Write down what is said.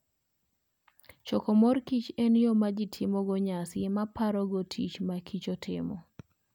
Choko mor kich en yo ma ji timogo nyasi mar paro tich ma kichi timo.